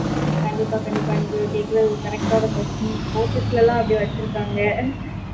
கண்டிப்பா கண்டிப்பா நீங்க கேக்குறது correct ஆன question